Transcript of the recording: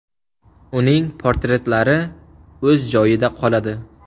Uning portretlari o‘z joyida qoladi.